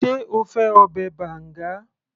sé o fẹ́ ọbẹ̀ banga